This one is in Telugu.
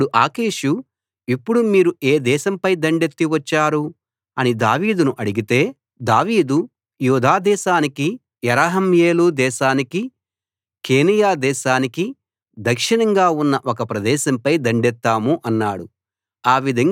అప్పుడు ఆకీషు ఇప్పుడు మీరు ఏ దేశంపై దండెత్తి వచ్చారు అని దావీదును అడిగితే దావీదు యూదా దేశానికి యెరహ్మెయేలు దేశానికి కేనీయ దేశానికి దక్షిణంగా ఉన్న ఒక ప్రదేశంపై దండెత్తాము అన్నాడు